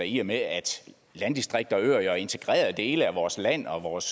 i og med at landdistrikter og øer jo er integrerede dele af vores land og vores